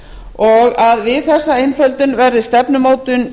og að við þessa einföldun verði stefnumótun